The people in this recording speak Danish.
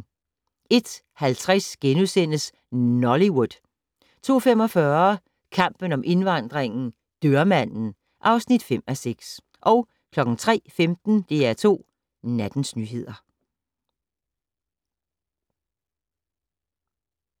01:50: Nollywood * 02:45: Kampen om indvandringen - "Dørmanden" (5:6) 03:15: DR2 Nattens nyheder